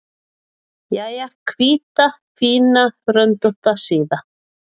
Jæja, hvíta, fína, röndótta síða.